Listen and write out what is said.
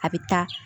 A bɛ taa